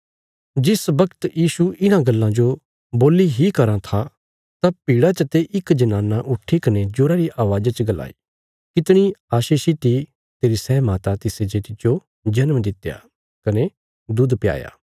जिस बगत यीशु इन्हां गल्लां जो बोल्ली इ कराँ थे तां भीड़ा चते इक जनाना उठीकने जोरा री अवाज़ा च गलाई कितणी आशीषित इ तेरी सै माता तिसे जे तिज्जो जन्म दित्या कने दुध प्याया